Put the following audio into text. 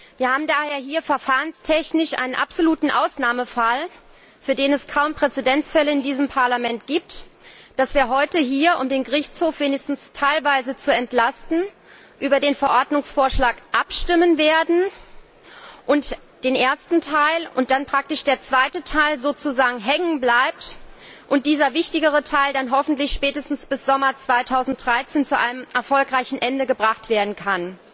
Wir haben daher hier verfahrenstechnisch einen absoluten Ausnahmefall für den es kaum Präzedenzfälle in diesem Parlament gibt dass wir heute hier, um den Gerichtshof wenigstens teilweise zu entlasten, über den Verordnungsvorschlag und den ersten Teil abstimmen werden und der zweite Teil sozusagen hängenbleibt, und dieser wichtigere Teil dann hoffentlich spätestens bis Sommer 2013 zu einem erfolgreichen Ende gebracht werden kann.